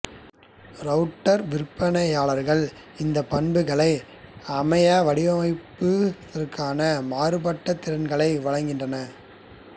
router விற்பனையாளர்கள் இந்த பண்புகளை அமைவடிவாக்குவதற்கான மாறுபட்ட திறன்களை வழங்குகின்றனர்